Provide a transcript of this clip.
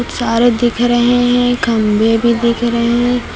सारे दिख रहे हैं खंभे भी दिख रहे हैं।